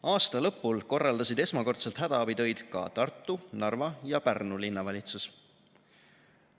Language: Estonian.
Aasta lõpul korraldasid esmakordselt hädaabitöid ka Tartu, Narva ja Pärnu linnavalitsus.